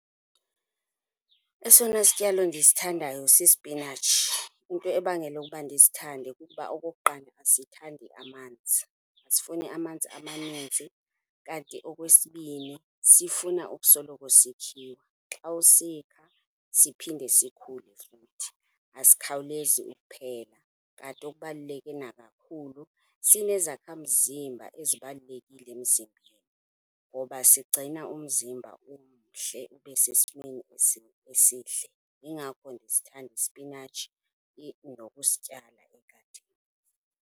Esona sityalo ndisithandayo sispinatshi. Into ebangela ukuba ndisithande kukuba okokuqala asithandi amanzi, asifuni amanzi amaninzi. Kanti okwesibini, sifuna ukusoloko sikhiwa. Xa usikha, siphinde sikhule futhi, asikhawulezi ukuphela. Kanti okubaluleke nakakhulu, sinezakhamzimba ezibalulekile emzimbeni ngoba sigcina umzimba umhle ube sesimeni esihle. Yingakho ndisithanda ispinatshi nokusityala egadini.